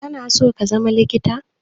Kana so ka zama likita?